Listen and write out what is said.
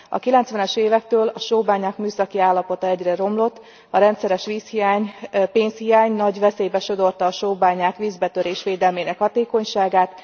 A kilencvenes évektől a sóbányák műszaki állapota egyre romlott, a rendszeres vízhiány, pénzhiány nagy veszélybe sodorta a sóbányák vízbetörés védelmének a hatékonyságát.